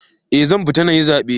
Eh, zan fita nayi zabe.